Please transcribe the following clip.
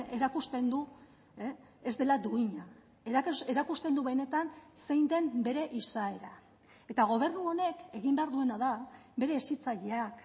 erakusten du ez dela duina erakusten du benetan zein den bere izaera eta gobernu honek egin behar duena da bere hezitzaileak